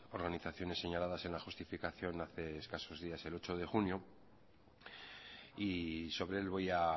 organizaciones señaladas en la justificación hace escasos días el ocho de junio y sobre él voy a